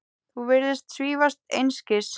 Þú virðist svífast einskis.